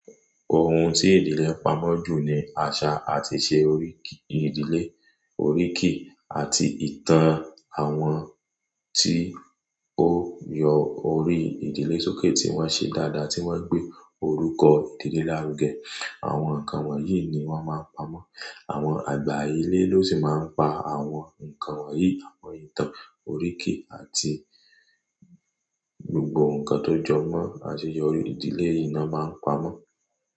Ohun tí ìdílé pamọ́ jù ni àṣà àti ìṣe oríkì ìdílé. Oríkì àti ìtàn àwọn tí ó yọ orí ìdílé sókè tí wọ́n ṣe dáadáa tí wọ́n gbé orúkọ ìdílé lárugẹ. Àwọn nǹkan wọ̀nyí ni wọ́n máa ń pamọ́. Àwọn àgbà ilé ló sì máa ń pa àwọn nǹkan wọ̀nyí, àwọn ìtàn, oríkì àti gbogbo nǹkan tó jọ mọ́ àseyọrí ìdílé i ná máa ń pamọ́